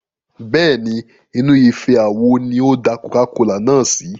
Bẹ́ẹ̀ni, inú ife àwo ni ó da coca-cola náà sí.